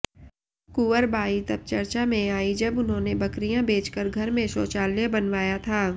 कुंवर बाई तब चर्चा में आईं जब उन्होंने बकरियां बेचकर घर में शौचालय बनवाया था